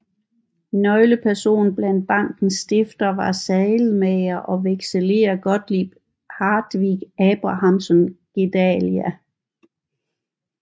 Nøglepersonen blandt bankens stiftere var saddelmager og vekselerer Gottlieb Hartvig Abrahamsson Gedalia